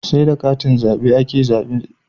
Seda katin zabe ake yin zabe